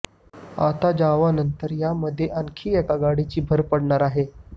आता जावानंतर यामध्ये आणखी एका गाडीची भर पडणार आहे